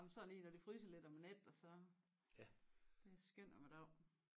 Jamen sådan lige når det fryser lidt om æ nat og så det er skøn om æ dag